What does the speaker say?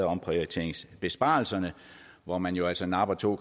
omprioriteringsbesparelserne hvor man jo altså napper to